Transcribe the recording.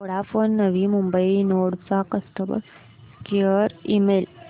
Vodafone Navi Mumbai node चा customer care email